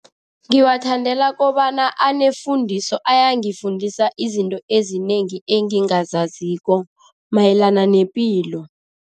Ngiwathandela kobana anefundiso, ayangifundisa izinto ezinengi engingazaziko mayelana nepilo.